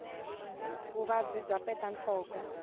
vuvabyi bya peta nhloko